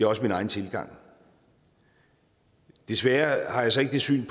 også min egen tilgang desværre har jeg så ikke det syn